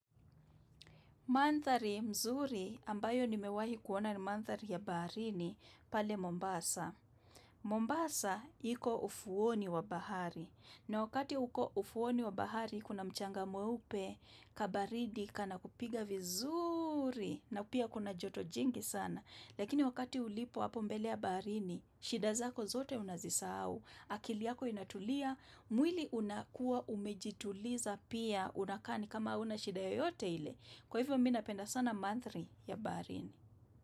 Manthari mzuri ambayo nimewahi kuona ni manthari ya baharini pale Mombasa. Mombasa hiko ufuoni wa bahari. Na wakati huko ufuoni wa bahari kuna mchanga mweupe kabaridi kana kupiga vizuri na pia kuna joto jingi sana. Lakini wakati ulipo hapo mbele ya baharini, shida zako zote unazisahau, akili yako inatulia, mwili unakua umejituliza pia unakaa ni kama huna shida yoyote ile. Kwa hivyo mi napenda sana manthari ya baharini.